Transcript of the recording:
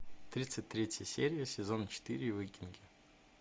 тридцать третья серия сезон четыре викинги